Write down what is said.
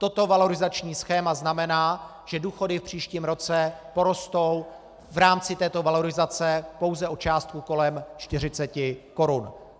Toto valorizační schéma znamená, že důchody v příštím roce porostou v rámci této valorizace pouze o částku kolem 40 korun.